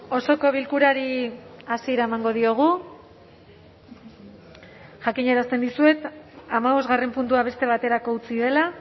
osoko bilkurari hasiera emango diogu jakinarazten dizuet hamabosgarren puntua beste baterako utzi dela